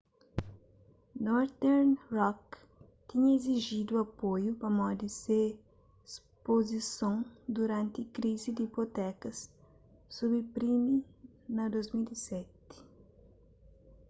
northern rock tinha izijidu apoiu pamodi se spozison duranti krizi di ipotekas subprime na 2007